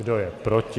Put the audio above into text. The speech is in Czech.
Kdo je proti?